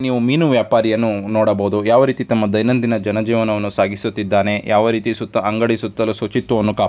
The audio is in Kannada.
ಮೀನು ವ್ಯಾಪಾರಿಯನ್ನು ನೋಡಬಹುದು ಯಾವ ರೀತಿ ತಮ್ಮ ದೈನಂದಿನ ಜನ ಜೀವನವನ್ನು ಸಾಗಿಸುತ್ತಿದ್ದಾನೆ. ಯಾವ ರೀತಿ ಸುತ್ತ ಅಂಗಡಿ ಸುತ್ತಲೂ ಶುಚಿತ್ವವನ್ನು --